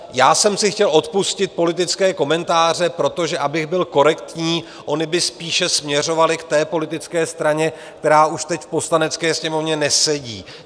Já jsem si chtěl odpustit politické komentáře, protože abych byl korektní, ony by spíše směřovaly k té politické straně, která už teď v Poslanecké sněmovně nesedí.